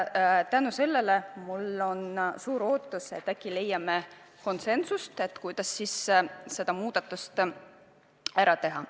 Tänu sellele mul on suur lootus, et äkki me leiame konsensuse ja lahenduse, kuidas see muudatus ära teha.